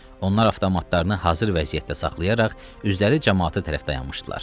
Onlar avtomatlarını hazır vəziyyətdə saxlayaraq üzləri camaata tərəf dayanmışdılar.